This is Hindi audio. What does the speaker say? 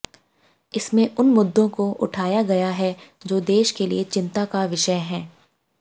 इसमें उन मुद्दों को उठाया गया है जो देश के लिए चिंता का विषय हैं